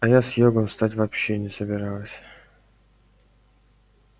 а я с йогом стать вовсе не собиралась